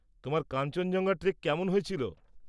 তোমার কাঞ্চনজঙ্ঘা ট্রেক কেমন হয়েছিল?